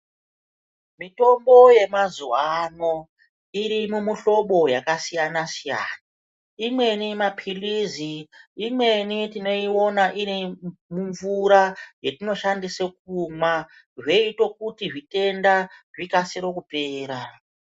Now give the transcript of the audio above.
Mitombo yemazuwa ano irimumuhlobo wakasiyana-siyana imweni mapirizi imweni tinoiona irimumvura yatinoshandisa kumwa zvoita kuti zvitenda zvikasire kupera.